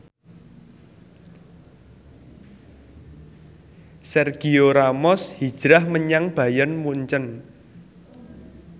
Sergio Ramos hijrah menyang Bayern Munchen